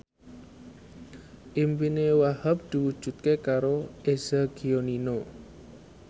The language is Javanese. impine Wahhab diwujudke karo Eza Gionino